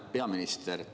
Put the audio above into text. Hea peaminister!